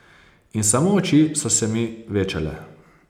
In samo oči so se mi večale.